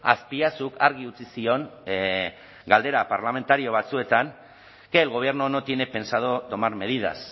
azpiazuk argi utzi zion galdera parlamentario batzuetan que el gobierno no tiene pensado tomar medidas